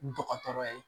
Dɔgɔtɔrɔ ye